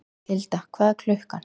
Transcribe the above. Hilda, hvað er klukkan?